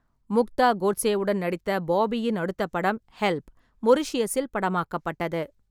முக்தா கோட்சேவுடன் நடித்த பாபியின் அடுத்த படம் 'ஹெல்ப்', மொரீஷியஸில் படமாக்கப்பட்டது.